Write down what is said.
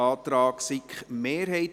Antrag SiK-Minderheit)